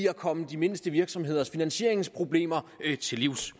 at komme de mindste virksomheders finansieringsproblemer til livs